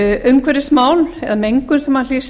umhverfismál eða mengun sem hlýst